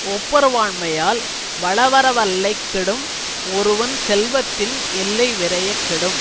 ஒப்புரவாண்மையால் வளவரைவல்லைக் கெடும் ஒருவன் செல்வத்தின் எல்லை விரையக் கெடும்